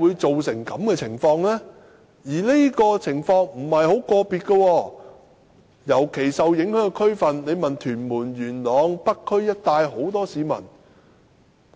這種情況並非個別例子，尤其是受影響的區份如屯門、元朗和北區一帶的眾多市民，